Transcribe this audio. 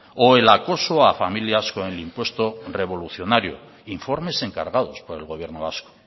o el acoso a familias con el impuesto revolucionario informes encargados por el gobierno vasco